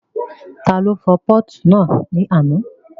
Ta ló fọ pọ́ọ̀tù náà ní àná?